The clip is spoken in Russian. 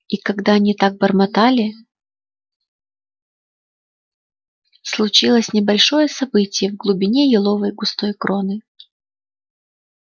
и когда они так бормотали случилось небольшое событие в глубине еловой густой кроны